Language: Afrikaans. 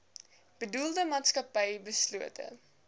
bedoelde maatskappy beslote